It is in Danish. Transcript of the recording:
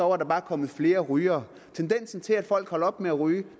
var der bare kommet flere rygere tendensen til at folk holder op med at ryge